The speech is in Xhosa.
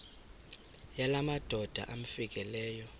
yala madoda amfikeleyo